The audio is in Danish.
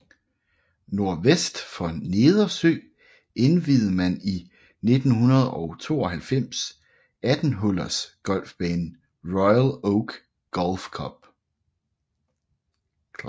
Nordvest for Nedersø indviede man i 1992 18 hullers golfbanen Royal Oak Golf Club